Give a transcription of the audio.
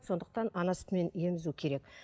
сондықтан ана сүтімен емізу керек